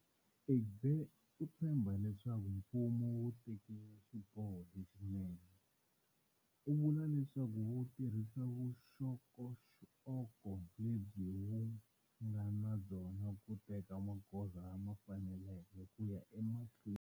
Egbe u tshembha leswaku mfumo wu tekile xiboho lexinene. U vula leswaku wu tirhisa vuxokoxoko lebyi wu nga na byona ku teka magoza lama faneleke ku ya emahlweni.